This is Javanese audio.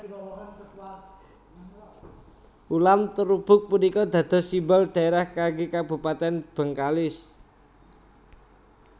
Ulam terubuk punika dados simbol dhaerah kanggé kabupatèn Bengkalis